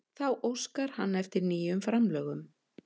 Þá óskar hann eftir nýjum framlögum